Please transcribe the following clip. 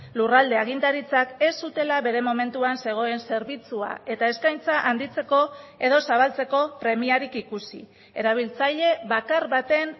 lurralde agintaritzak ez zutela bere momentuan zegoen zerbitzua eta eskaintza handitzeko edo zabaltzeko premiarik ikusi erabiltzaile bakar baten